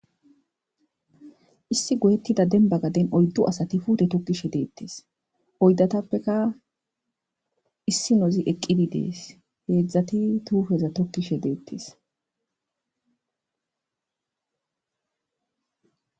issi goyettida denba gaden oyddu asati fute tokkishe deettes oydatappeka issi nozi eqqidi dees heedzdzati tuufeza tokkishe deettes